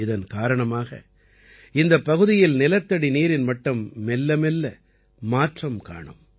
இதன் காரணமாக இந்தப் பகுதியில் நிலத்தடி நீரின் மட்டம் மெல்ல மெல்ல மாற்றம் காணும்